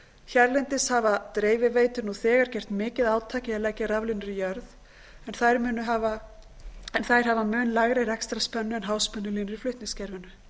hérlendis hafa dreifiveitur nú þegar gert mikið átak í að leggja raflínur í jörð en þær hafa mun lægri rekstrarspennu en háspennulínur í flutningskerfinu